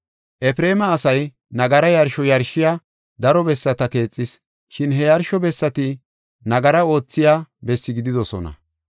“Efreema asay nagara yarsho yarshiya daro bessata keexis, shin he yarsho bessati nagara oothiya bessi gididosona.